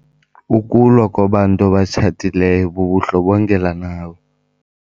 Ukulwa kwabantu abatshatileyo bubundlobongela nabo.